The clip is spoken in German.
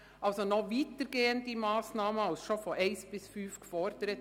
Damit gibt es noch weitergehende Massnahmen als schon in den Punkten 1−5 gefordert.